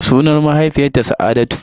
Sunan mahaifiyata Sa'adatu.